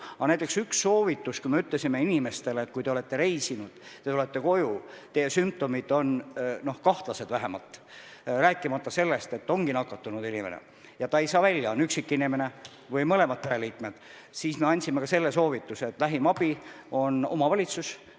Aga näiteks me ütlesime inimestele, et kui te olete reisinud ja olete koju tulnud ning teie sümptomid on kahtlased, rääkimata sellest, et ongi üksi elav inimene või mõlemad pereliikmed nakatunud ja ei saa kodunt välja, siis me andsime ka selle soovituse, et lähim abi on omavalitsuses.